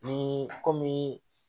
Ni komi